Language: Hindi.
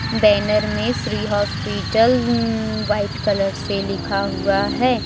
बैनर में श्री हॉस्पिटल अं व्हाइट कलर से लिखा हुआ है।